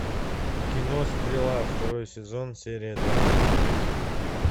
кино стрела второй сезон серия два